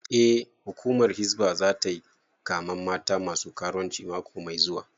Eh, hukumar hizba zata yi kamen mata masu karuwanci mako mai zuwa